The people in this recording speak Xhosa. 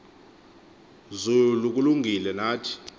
zulu kulungile nathi